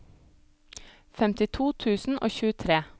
femtito tusen og tjuetre